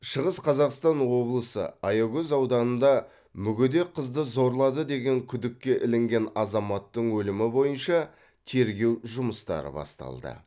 шығыс қазақстан облысы аягөз ауданында мүгедек қызды зорлады деген күдікке ілінген азаматтың өлімі бойынша тергеу жұмыстары басталды